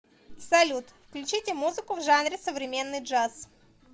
салют включите музыку в жанре современный джаз